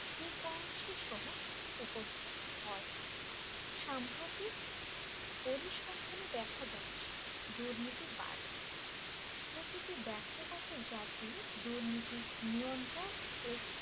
frequency সহ উপস্থিত হয় সাম্প্রতিক পরিসংখ্যানে দেখা যাচ্ছে দুর্নীতি বাড়ছে প্রতিটি ব্যক্তিগত জাতি দুর্নীতি নিয়ন্ত্রণ ও